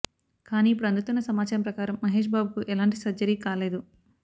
కానీ ఇప్పుడు అందుతున్న సమాచారం ప్రకారం మహేష్ బాబుకు ఎలాంటి సర్జరీ కాలేదు